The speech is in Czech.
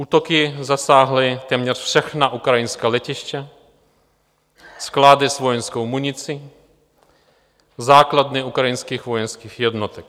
Útoky zasáhly téměř všechna ukrajinská letiště, sklady s vojenskou municí, základny ukrajinských vojenských jednotek.